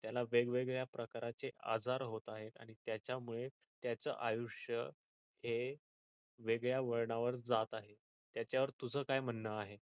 त्याला वेगवेगळ्या प्रकारचे आजार होतात आणि त्याच्या मुळे त्याच आयुष्य हे वेगळ्या वळणावर जात आहे त्याच्या वर तुझ काय म्हणण आहे.